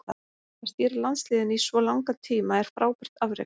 Að stýra landsliðinu í svo langan tíma er frábært afrek.